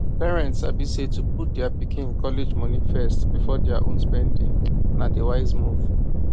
parents sabi say to put dia pikin college money first before dia own spending na di wise move